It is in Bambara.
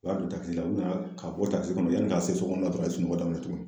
U y'a don takisi la u nana ka bɔ takisi kɔnɔ yani ka se so kɔnɔ la dɔrɔn a ye sunɔgɔ daminɛ tugun